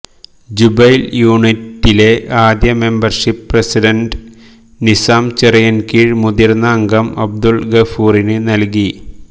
Jubail യൂണിറ്റിലെ ആദ്യ membership president Nizam Chirayinkeezhu മുതിർന്ന അംഗം അബ്ദുൽ ഗഫൂറിന് നൽകി